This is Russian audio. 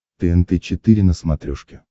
тнт четыре на смотрешке